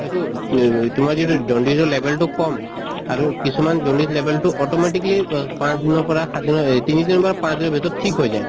এইটো তোমাৰ যদি jaundice ৰ level তো কম আৰু কিছুমান jaundice ৰ level তো automatically অহ পাচঁ দিনৰ পৰা সাত দিনৰ এই তিনি দিনৰ পৰা পাঁচ দিনৰ ভিতৰত ঠিক হৈ যায়।